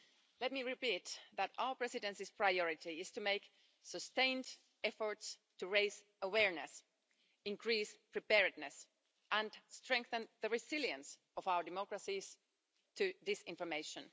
Let me repeat that our Presidency's priority is to make sustained efforts to raise awareness, increase preparedness and strengthen the resilience of our democracies to disinformation.